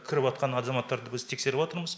кіріватқан азаматтарды біз тексеріватырмыз